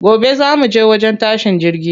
Gobe za muje wajen tashin jirgi.